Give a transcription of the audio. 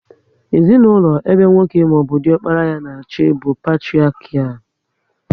Ezinaụlọ ebe nwoke maọbụ diokpara ya na achị bụ patiriakial